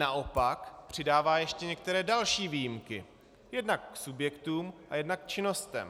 Naopak přidává ještě některé další výjimky, jednak k subjektům a jednak k činnostem.